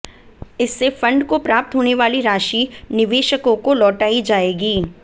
इससे फंड को प्राप्त होने वाली राशि निवेशकों को लौटाई जाएगी